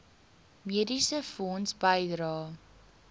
mediese fonds bydrae